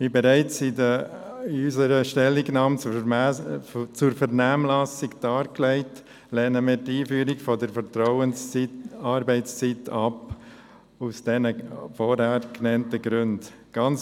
Wie bereits in unserer Stellungnahme zur Vernehmlassung dargelegt, lehnen wir die Einführung der Vertrauensarbeitszeit aus den vorhin genannten Gründen ab.